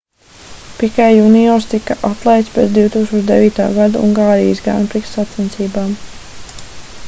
pikē juniors tika atlaists pēc 2009. gada ungārijas grand prix sacensībām